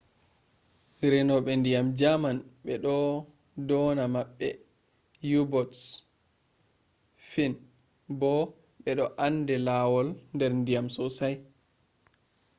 renube ndyan german be do dona mabbe u-boats.fin bo be ande lawaul der ndiyam sosai